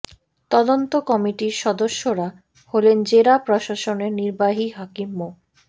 তদন্ত কমিটির সদস্যরা হলেন জেলা প্রশাসনের নির্বাহী হাকিম মো